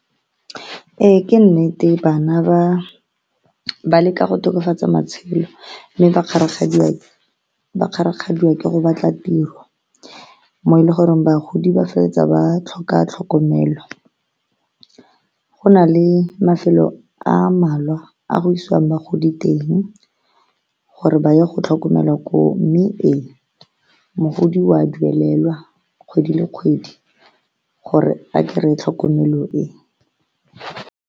Ee, ke nnete bana ba leka go tokafatsa matshelo mme ba kgarakgadiwa ke go batla tiro mo e le goreng bagodi ba feleletsa ba tlhoka tlhokomelo. Go na le mafelo a malwa a go isiwang bagodi teng gore ba ye go tlhokomelwa ko mme e, mogodi wa duelelwa kgwedi le kgwedi gore a kry-e tlhokomelo e.